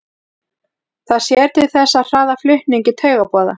það sér til þess að hraða flutningi taugaboða